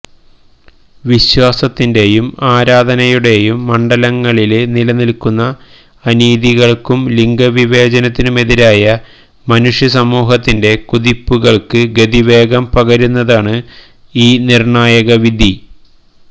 വിശ്വാസത്തിന്റെയും ആരാധനയുടേയും മണ്ഡലങ്ങളില് നിലനില്ക്കുന്ന അനീതികള്ക്കും ലിംഗവിവേചനത്തിനുമെതിരായ മനുഷ്യസമൂഹത്തിന്റെ കുതിപ്പുകള്ക്ക് ഗതിവേഗം പകരുന്നതാണ് ഈ നിര്ണായക വിധി